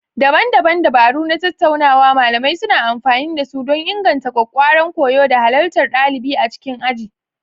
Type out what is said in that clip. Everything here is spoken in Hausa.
Daban-daban dabaru na tattaunawa malamai suna amfani da su don inganta ƙwaƙƙwaran koyo da halartar ɗalibai a cikin aji.